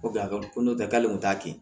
Ko ko n'o tɛ k'ale kun t'a kɛ